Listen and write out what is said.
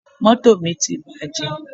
Mọ́tò mi ti bàjẹ́.